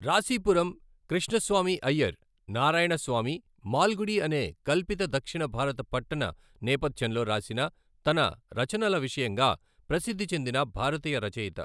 రాశిపురం కృష్ణస్వామి అయ్యర్ నారాయణస్వామి మాల్గుడి అనే కల్పిత దక్షిణ భారత పట్టణ నేపథ్యంలో రాసిన తన రచనల విషయంగా ప్రసిద్ధి చెందిన భారతీయ రచయిత.